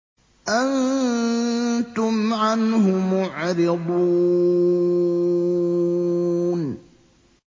أَنتُمْ عَنْهُ مُعْرِضُونَ